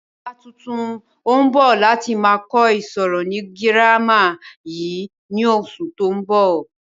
Ọ̀gá tuntun ń bọ̀ láti máa kọ ìṣirò ni girama yìí ni oṣù tó ń bọ̀